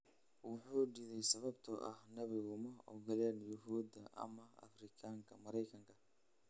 Wuxuu diiday sababtoo ah naadigu ma ogola Yuhuuda ama Afrikaanka Maraykanka.